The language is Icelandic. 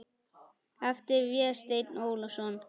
eftir Véstein Ólason.